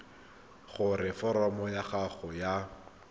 gore foromo ya gago ya